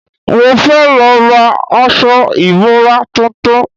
Mo fẹ́ lọ ra aṣọ ìbora tuntun